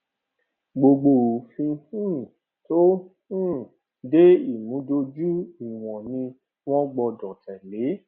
gbogbo òfin um tó um de ìmúdójú ìwọn ni wọn gbọdọ tẹlẹ